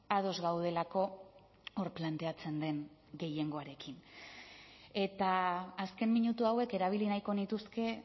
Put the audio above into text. ados gaudelako hor planteatzen den gehiengoarekin eta azken minutu hauek erabili nahiko nituzke